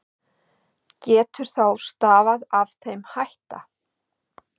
Getur þá stafað af þeim hætta